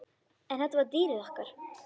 En þetta var dýrið okkar.